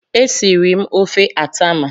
Esiri m ofe atama.